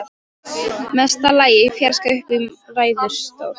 Mesta lagi í fjarska uppi í ræðustól.